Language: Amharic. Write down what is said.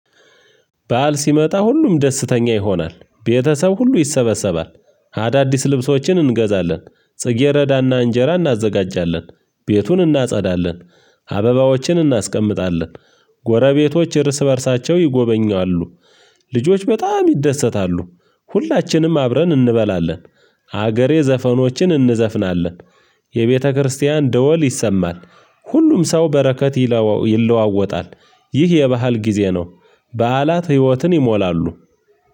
ባዓል ሲመጣ ሁሉም ደስተኛ ይሆናል ቤተሰብ ሁሉ ይሰበሰባል። አዳዲስ ልብሶችን እንገዛለን ጽጌረዳና እንጀራ እናዘጋጃለን ቤቱን እናጸዳለን። አበባዎችን እናስቀምጣለን ጎረቤቶች እርስ በእርሳቸው ይጎበኛሉ። ልጆች በጣም ይደሰታሉ። ሁላችንም አብረን እንበላለን። ሀገሬ ዘፈኖችን እንዘፍናለን። የቤተክርስቲያን ደወል ይሰማል። ሁሉም ሰው በረከት ይለዋወጣል። ይህ የባህል ጊዜ ነው። በዓላት ህይወትን ይሞላሉ።